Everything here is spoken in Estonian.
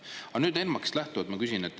Aga nüüd ENMAK-ist lähtuvalt ma küsin.